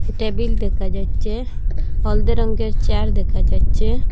Table দেখা যাচ্ছে হলদে রঙ্গের চেয়ার দেখা যাচ্ছে।